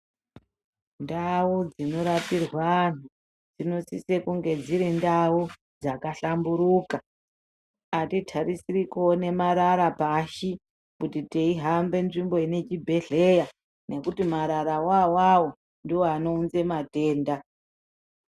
Ndau dzinorapirwe anhu dzinosise kunge dziri ndau dzakahlamburuka. Atitarisiri kuone marara pashi kuti teihambe nzvimbo inechibhehleya ngekuti marara wona awawo ndiwo anounza matenda.